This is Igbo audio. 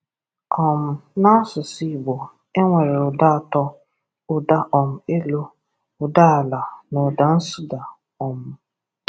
um N’asụsụ Igbo, e nwere ụda atọ: ụda um elu, ụda ala na ụda nsuda um